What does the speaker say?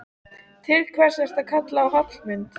Til hvers ertu að kalla á Hallmund?